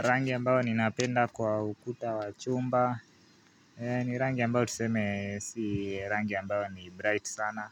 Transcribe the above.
Rangi ambayo ninapenda kwa ukuta wa chumba, ni rangi ambayo tuseme si rangi ambayo ni bright sana,